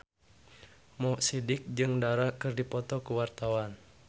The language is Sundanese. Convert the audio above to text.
Mo Sidik jeung Dara keur dipoto ku wartawan